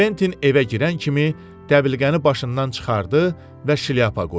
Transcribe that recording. Kventin evə girən kimi dəbilqəni başından çıxardı və şlyapa qoydu.